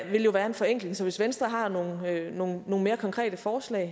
jo være en forenkling så hvis venstre har nogle nogle mere konkrete forslag